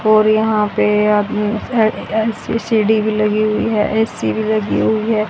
और यहां पे सी_सी_टी_वी लगी हुई है ए_सी भी लगी हुई है।